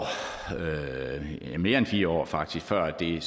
ja nu mere end fire år faktisk før det